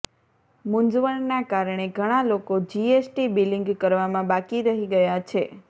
મુંઝવણના કારણે ઘણા લોકો જીએસટી બીલીંગ કરવામાં બાકી રહી ગયા છે